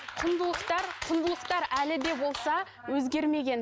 құндылықтар құндылықтар әлі де болса өзгермеген